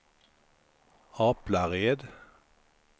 Aplared